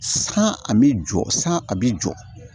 San a bɛ jɔ san a bɛ jɔ